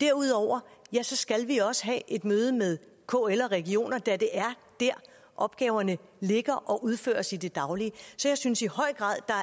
derudover skal vi også have et møde med kl og regionerne da det er der opgaverne ligger og udføres i det daglige så jeg synes i høj grad